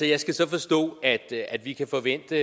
jeg skal så forstå at at vi kan forvente